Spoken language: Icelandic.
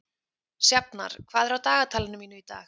Sjafnar, hvað er á dagatalinu mínu í dag?